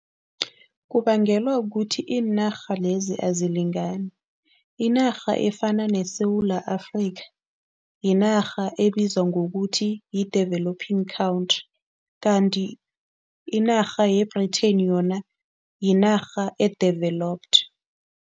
Kubangelwa kukuthi iinarha lezi azilingani. Inarha efana neSewula Afrika yinarha ebizwa ngokuthi yi-developing country kanti inarha ye-Britain yona yinarha e-developed.